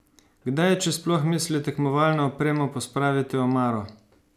Kdaj če sploh misli tekmovalno opremo pospraviti v omaro?